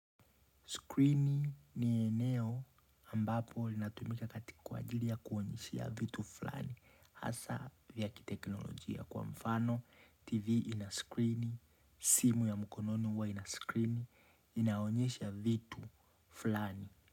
Skrini ni eneo ambapo linatumika katika kwa ajili ya kuonyeshea vitu fulani. Asa vya kiteknolojia kwa mfano, TV ina skrini, simu ya mkononi ua ina skrini, inaonyesha vitu fulani.